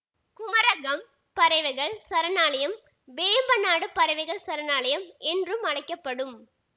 குமரகம் பறவைகள் சரணாலயம் வேம்பநாடு பறவைகள் சரணாலயம் என்றும் அழைக்க படும்